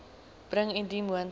bring indien moontlik